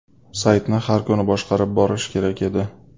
Saytni har kuni boshqarib borish kerak edi.